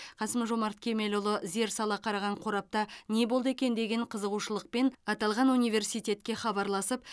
қасым жомарт кемелұлы зер сала қараған қорапта не болды екен деген қызығушылықпен аталған университетке хабарласып